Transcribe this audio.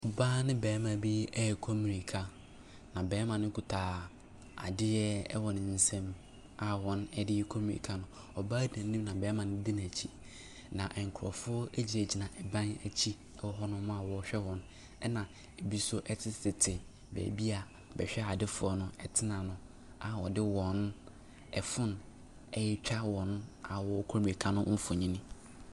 Ɔbaa ne barima bi rekɔ mmirika, na barima no kuta adeɛ wɔ ne nsam a wɔde rekɔ mmirika no. Ɔbaa no di anim na ɔbarima no di n'akyi, na nkurɔfoɔ gyinagyina dan akyi wɔ hɔ no a wɔrehwɛ wɔn, ɛnna ɛbi nso tetetete baabi a bɛhwɛadefoɔ no tena no a wɔde wɔn phone retwa wɔn a wɔrekɔ mmirika no mfonin.